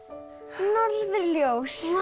norðurljós